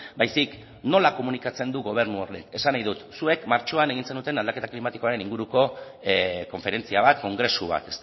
baizik nola komunikatzen du gobernu honek esan nahi dut zuek martxoan egin zenuten aldaketa klimatikoaren inguruko konferentzia bat kongresu bat